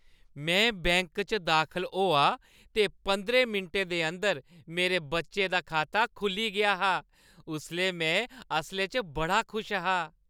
में बैंक च दाखल होआ ते पंदरें मिंटें दे अंदर मेरे बच्चे दा खाता खुʼल्ली गेआ हा। उसलै मैं असलै च बड़ा खुश हा ।